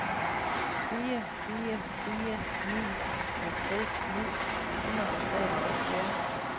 fire fire fire ni halvtreds ni hundrede og treoghalvfjerds